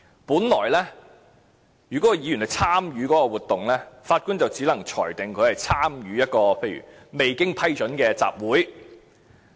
本來，如果議員參與這個活動，法官只能裁定他參與一個未經批准的集會。